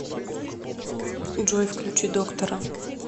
джой включи доктора